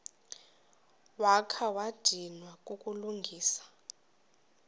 wakha wadinwa kukulungisa